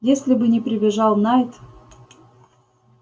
если бы не прибежал найд